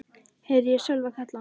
heyrði ég Sölva kalla.